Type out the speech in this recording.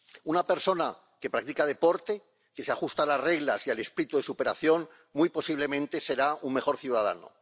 Una persona que practica deporte, que se ajusta a las reglas y al espíritu de superación, muy posiblemente será un mejor ciudadano.